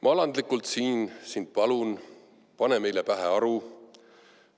Ma alandlikult sind siin palun, pane meile pähe aru!